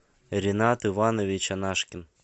ринат иванович анашкин